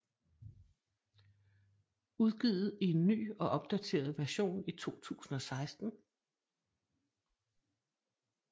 Udgivet i en ny og opdateret version i 2016